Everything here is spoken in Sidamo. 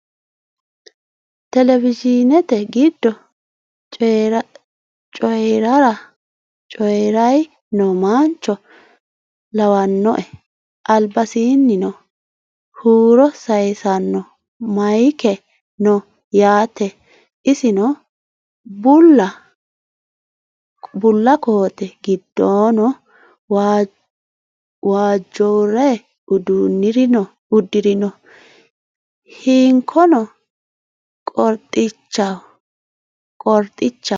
Televizhinete giddo coyiirayi no mancho lawannoe albasiinnino huuro sayiissanno mayiike no yaate isino bulla koote giddoono waajjore uddirino hinkono qorxichaho